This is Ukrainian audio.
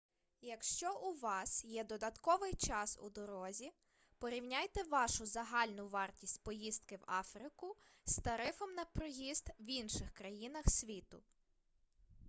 якщо у вас є додатковий час у дорозі порівняйте вашу загальну вартість поїздки в африку з тарифом на проїзд в інших країнах світу